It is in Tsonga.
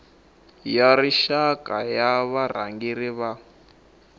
ya rixaka ya varhangeri va